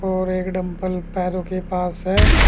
और एक डम्बल पैरों के पास है।